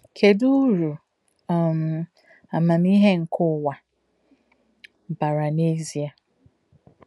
Kedụ uru um amamihe nke ụwa bara n’ezie?